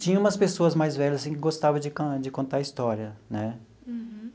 Tinha umas pessoas mais velhas assim que gostava de con de contar história, né? Uhum.